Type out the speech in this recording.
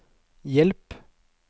hjelp